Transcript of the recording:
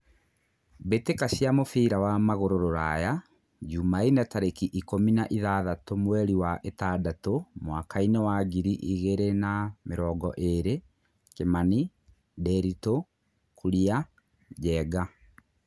Mbĩ tĩ ka cia mũbira wa magũrũ Ruraya Jumaine tarĩ ki ikũmi na ithathatũ mweri wa ĩ tandatũ mwakainĩ wa ngiri igĩ rĩ na mĩ rongo ĩ rĩ : Kimani, Ndiritu, Kuria, Njenga.